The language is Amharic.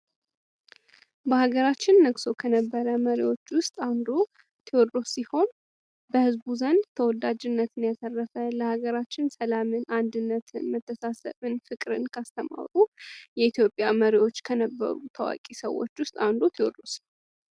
በሀገራችን ነግሶ ከነበረ መሪ አንዱ ቴዎድሮስ ሲሆን በህዝብ ዘንድ ተወዳጅነትን ያረፈ ለሀገራችን ሰላም አንድነትን መታሰብን ማሰብን ፍቅርን ከአስተማሩ የኢትዮጵያ መሪዎች ከነበሩ ታዋቂ ሰዎች አንዱ ቴዎድሮስ ነው።